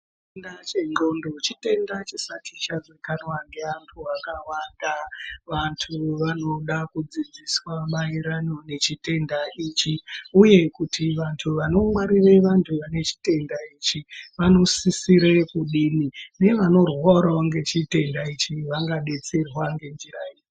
Chitenda chendxondo chitenda chisati chazikanwa ngeantu akawanda. Vantu vanoda kudzidziswa maererano nechitenda ichi uye kuti vantu vanongwarire vane chitenda ichi vanosisire kudini nevanorwarawo ngechitenda ichi vangadetserwa ngenjira iri.